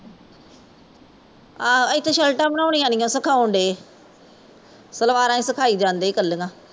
ਆਹੋ ਇੱਥੇ ਸ਼ਰਟਾਂ ਬਣਾਉਣੀਂਆ ਨੀ ਸਿਖਾਉਣ ਡੇ ਸਲਵਾਰਾਂ ਹੀਂ ਸਿਖਾਈ ਜਾਂਦੇ ਕਲੀਂਆ